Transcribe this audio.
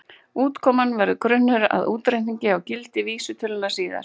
Útkoman verður grunnur að útreikningi á gildi vísitölunnar síðar.